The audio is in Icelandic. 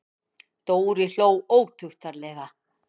Dóri hló ótuktarlega.